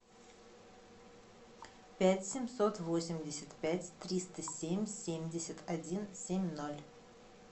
пять семьсот восемьдесят пять триста семь семьдесят один семь ноль